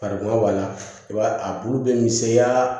Fardunba b'a la i b'a a bulu bɛ misɛnya